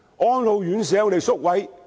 安老院舍有很多宿位嗎？